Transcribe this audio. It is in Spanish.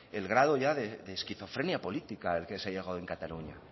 el grado ya de esquizofrenia política el que se ha llegado en cataluña